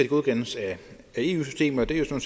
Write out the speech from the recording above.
godkendes af eu systemet og det er jo